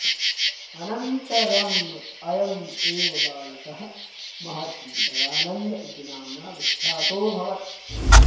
अनन्तरम् अयम् एव् बालकः महर्षिः दयानन्द इति नाम्ना विख्यातोऽभवत्